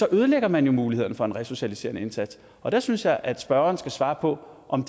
ødelægger man jo mulighederne for en resocialiserende indsats og der synes jeg at spørgeren skal svare på om